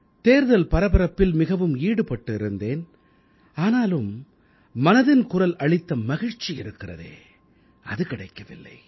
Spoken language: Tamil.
தேர்தல் பரபரப்பில் மிகவும் ஈடுபட்டு இருந்தேன் ஆனாலும் மனதின் குரல் அளித்த மகிழ்ச்சி இருக்கிறதே அது கிடைக்கவில்லை